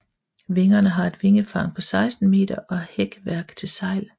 Vingerne har et vingefang på 16 meter og hækværk til sejl